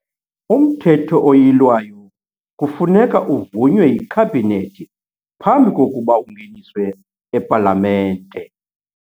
UMthetho oYilwayo kufuneka uvunywe yiKhabhinethi phambi kokuba ungeniswe ePalamente.